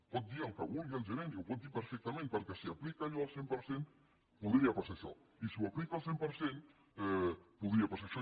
pot dir el que vulgui el gerent i ho pot dir perfectament perquè si aplica allò al cent per cent podria passar això i si ho aplica al cent per cent podria passar això